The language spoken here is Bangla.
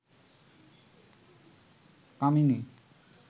কামিনী